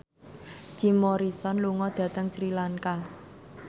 Jim Morrison lunga dhateng Sri Lanka